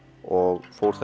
og fór